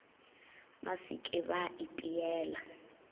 ba se ke ba ipeela